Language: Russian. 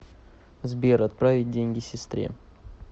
сбер отправить деньги сестре